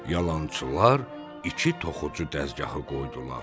Yalançılar iki toxucu dəzgahı qoydular.